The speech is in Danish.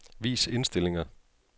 Vis indstillinger.